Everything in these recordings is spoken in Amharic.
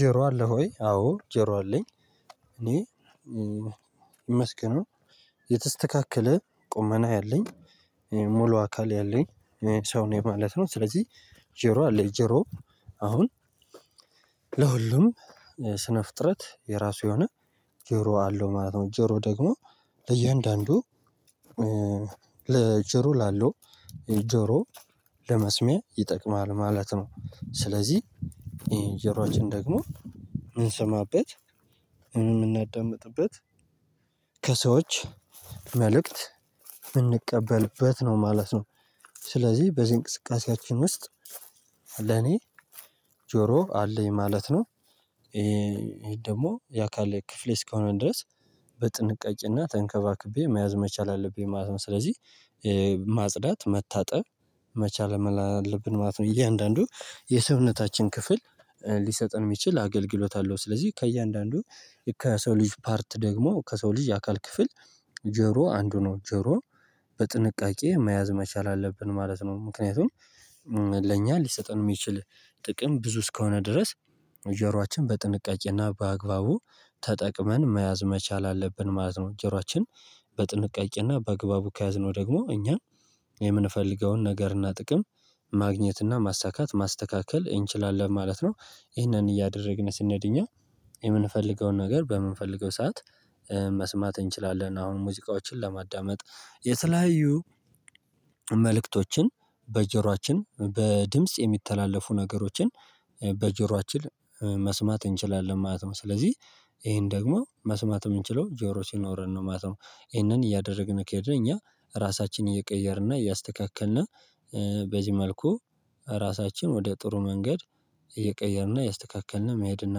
ጀሮ አለ ሆይ አዎ ጀሮ አለኝ። እኔ ይመስገነው የተስተካከለ ቁመና ያለኝ ሙሉ አካል ያለኝ ሰው ነኝ ማለት ነው። ስለዚህ ጆሮ አለኝ ጆሮ አሁን ለሁሉም ስነ ፍጥረት የራሱ የሆነ ጀሮ አለው ማለት ነው። ጀሮ ደግሞ ለእያንዳንዱ ለጀሮ ላለው ጀሮ ለመስሚያ ይጠቅማል ማለት ነው። ስለዚህ የጀሩአችን ደግሞ ምንሰማበት ምናዳምጥበት ከሰዎች መልእክት ምንቀበልበት ነው ማለት ነው። ስለዚህ በዚህ እንቅስቃሴያችን ውስጥ ለኔ ጆሮ አለኝ ማለት ነው። ይሄ ደግሞ የአካል ክፍሌ እስከሆነን ድረስ በጥንቃቄና ተንከባክቤ መያዝ መቻል አለብኝ ማለት ነው። ስለዚህ ማጽዳት መታጠብ መቻል መላ አለብን ማለት ነው። እያንዳንዱ የሰውነታችን ክፍል ሊሰጥን ሚችል አገልግሎት አለው። ስለዚህ ከእያንዳንዱ ከሰው ልጅ ፓርት ደግሞ ከሰው ልጅ አካል ክፍል ጆሮ አንዱ ነው ጆሮ በጥንቃቄ መያዝ መቻል አለብን ማለት ነው። ምክንያቱም ለእኛ ሊሰጠን ሚችል ጥቅም ብዙ እስከሆነ ድረስ ጆሮአችን በጥንቃቄና በአግባቡ ተጠቅመን መያዝ መቻል አለብን ማለት ነው። ጀሩዋችን በጥንቃቄና በአግባቡ ከያዝነው ደግሞ እኛን ምንፈልገውን ነገርና ጥቅም ማግኘትና ማሳካት ማስተካከል እንችላለን ማለት ነው። ይህንን እያደረግን ስንሄድ እኛ የምንፈልገውን ነገር በምንፈልገው ሰዓት መስማት እንችላለን አሁን ሙዚቃዎችን ለማዳመጥ የተለያዩ መልእክቶችን በጀሯችን በድምጽ የሚተላለፉ ነገሮችን በጀሮአችን መስማት እንችላለን ማለት ነው። ስለዚህ ይሄን ደግሞ መስማት ምንችለው ጆሮ ሲኖረን ነው ማለት ነው። ይሄንን እያደረግን ከሄድነ እኛ ራሳችንን እየቀየርነ እያስተካከልና በዚህ መልኩ ራሳችን ወደ ጥሩ መንገድ እየቀየርነ እያስተካከል መሄድና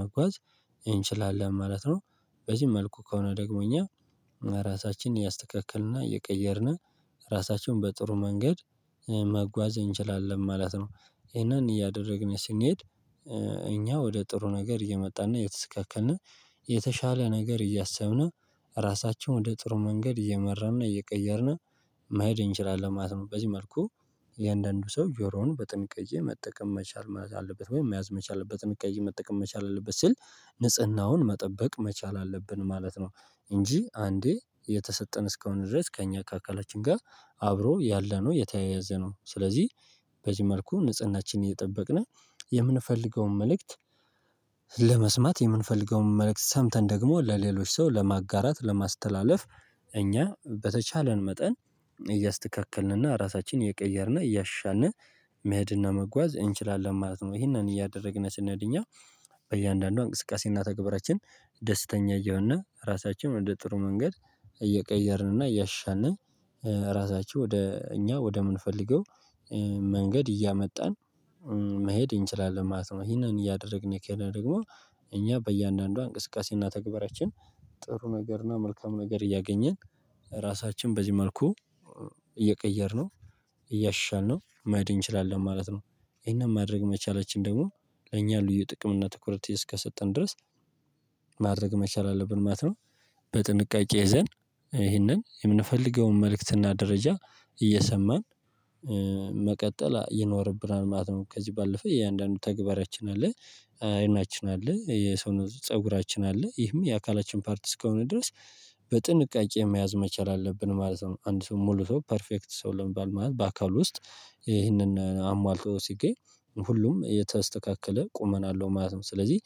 መጓዝ እችላለን ማለት ነው። በዚህ መልኩ ከሆነ ደግሞ እኛ ራሳችንን እያስተካከልንና እየቀየርን ራሳችንን በጥሩ መንገድ መጓዝ እንችላለን ማለት ነው። ይሄንን እያደረግን ስንሄድ እኛ ወደ ጥሩ ነገር እየመጣን እየተስካከልን የተሻለ ነገር እያሰብነው ራሳቸው ወደ ጥሩ መንገድ እየመራነ እየቀየርን መሆድ እንችላለን ማለት ነው። በዚህ መልኩ እያንዳንዱ ሰው ጆሮውን በጥንቃቄ መጠቀም መቻል ማለት አለበት ወይም መያዝ መቻል በጥንቃቄ መጠቀም መቻል አለበት ስል ንጽህናውን መጠበቅ መቻል አለብን ማለት ነው። እንጂ አንዴ የተሰጠን እስከሆነ ድረስ ከእኛ ከአካላችን ጋር አብሮ ያለነው የተያያዘ ነው። ስለዚህ በዚህ መልኩ ንጽህናችን እየጠበቅነ የምንፈልገውን መልእክት ለመስማት ምንፈልገውን መልእክት ሰምተን ደግሞ ለሌሎች ሰው ለማጋራት ለማስተላለፍ እኛ በተቻለን መጠን እያስተካከልንና ራሳችንን እየቀየርን እያሻሻልነ መሄድና መጓዝ እንችላለን ማለት ነው። ይህንን እያደረግን ስንሄድ እኛ በእያንዳንዷ እንቅስቃሴ እና ተግብራችን ደስተኛ እየሆነ ራሳችንም ወደ ጥሩ መንገድ እየቀየርንና እያሻሻልነ ራሳቸው ወደ እኛ ወደ ምንፈልገው መንገድ እያመጣን መሄድ እንችላል ማለት ነው። ይህንን እያደረግን ከሆድነ ደግሞ እኛ በእያንዳንዷ እንቅስቃሴና ተግባራችን ጥሩ ነገርና መልካም ነገር እያገኘን ራሳችን በዚህ መልኩ እየቀየርነው እያሻሻልነው መህድ እንችላለን ማለት ነው። ይህን ማድረግ መቻላችን ደግሞ ለኛ ልዩ ጥቅም እና ትኩረት እስከሰጠን ድረስ ማድረግ መቻል አለብን ማለት ነው። በጥንቃቄ ዘንድ ይህንን ምንፈልገውን መልእክትና ደረጃ እየሰማን መቀጠል ይኖርብናል ማለት ነው። ከዚህ ባለፈ እያንዳንዱ ተግባራችን አለ አይናችን አለ የሰውነት ፀጉራችን አለ ይህም የአካላችን ፓርት እስከሆነ ድረስ በጥንቃቄ መያዝ መቻል አለብን ማለት ነው። አንድ ሰው ሙሉ ሰው ፐርፌክት ሰው ለመባል ማለት በአካሉ ውስጥ ይህንን አሟልቶ ሲገኝ ሁሉም የተስተካከለ ቆመና አለው ማለት ነው። ስለዚህ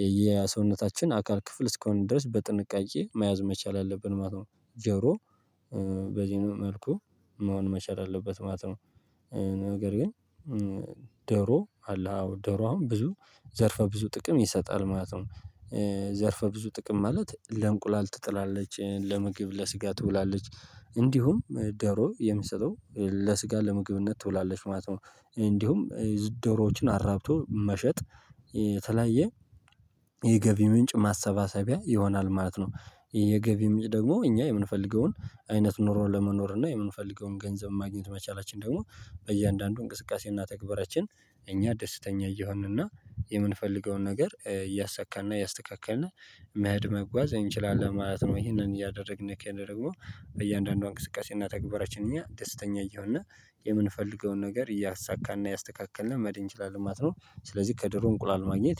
የየሰውነታችን አካል ክፍል እስከሆነ ድረስ በጥንቃቄ መያዝ መቻል አለብን ማለት ነው። ጆሮ በዚኛው መልኩ መሆን መቻል አለበት ማለት ነው። ነገር ግን ደሮ አለህ? አ ደሮ አሁን ብዙ ዘርፈ ብዙ ጥቅም ይሰጣል ማለት ነው። ዘርፈ ብዙ ጥቅም ማለት ለእንቁላል ትጥላለች ለምግብ ለስጋ ትውላለች እንዲሁም ደሮ የሚሰጠው ለስጋ ለምግብነት ትውላለች ማለት ነው። እንዲሁም ዝደሮዎችን አራብቶ መሸጥ የተለያየ የገቢ ምንጭ ማሰባሰቢያ ይሆናል ማለት ነው። የገቢ ምንጭ ደግሞ እኛ የምንፈልገውን አይነት ኑሮ ለመኖር እና የምንፈልገውን ገንዘብ ማግኘት መቻላችን ደግሞ በእያንዳንዱ እንቅስቃሴ እና ተግባራችን እኛ ደስተኛ እየሆንን እና የምንፈልገውን ነገር እያሳካና እያስተካከልነ መህድ መጓዝ እንችላለን ማለት ነው። እሂንን እያደረግን ከሆድነ ደግሞ በእያንዳንዷ እንቅስቃሴና ተግባራችን እኛ ደስተኛ እየሆነ የምንፈልገውን ነገር እያሳካና እያስተካከልን መህድ እችላለን ማለት ነው። ስለዚህ ከድሮ እንቁላል ማግኘት